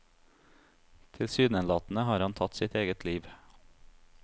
Tilsynelatende har han tatt sitt eget liv.